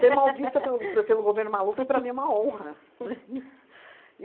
mal vista pelo pe pelo governo Maluf é para mim uma honra, né?